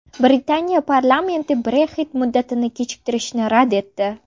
Britaniya parlamenti Brexit muddatini kechiktirishni rad etdi.